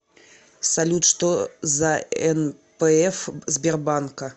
салют что за нпф сбербанка